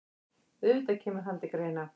Auðvitað kemur hann til greina.